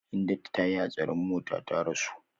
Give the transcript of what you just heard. Hindatu tayi hatsarin mota ta rasu.